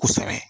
Kosɛbɛ